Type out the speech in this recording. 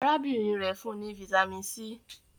arábìnrin rẹ fún ní Vitamin c.